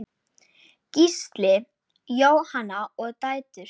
Gísli, Jóna og dætur.